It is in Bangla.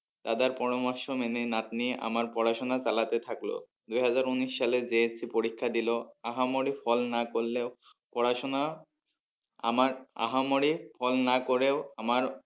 দাদার পরামর্শ মেনে নাতনি আমার পড়াশোনা চালাতে থাকলো দুই হাজার উনিশ সালে JSC পরীক্ষা দিলো আহা মরি ফল না করলেও পড়াশোনা আমার আহা মরি ফল না করেও আমার